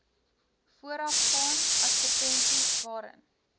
voorafgaan advertensies waarin